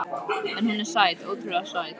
En hún er sæt, ótrúlega sæt.